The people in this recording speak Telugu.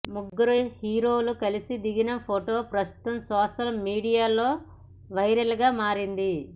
ముగ్గురు హీరోలు కలిసి దిగిన ఫోటో ప్రస్తుతం సోషల్ మీడియాలో వైరల్గా మారింది